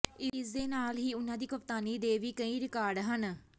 ਇਸ ਦੇ ਨਾਲ ਹੀ ਉਨ੍ਹਾਂ ਦੀ ਕਪਤਾਨੀ ਦੇ ਵੀ ਕਈ ਰਿਕਾਰਡ ਹਨ